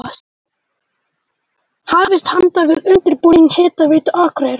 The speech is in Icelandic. Hafist handa við undirbúning Hitaveitu Akureyrar.